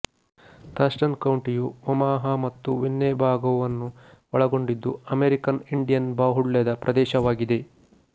Thurston ಕೌಂಟಿಯುಒಮಾಹಾ ಮತ್ತು ವಿನ್ನೆಬಾಗೊವನ್ನು ಒಳಗೊಂಡಿದ್ದು ಅಮೆರಿಕನ್ ಇಂಡಿಯನ್ ಬಾಹುಳ್ಯದ ಪ್ರದೇಶವಾಗಿದೆ